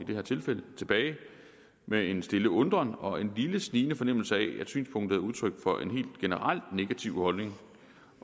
tilbage med en stille undren og en lille snigende fornemmelse af at synspunktet er udtryk for en helt generelt negativ holdning